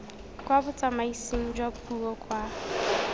kwa botsamaising jwa puo kwa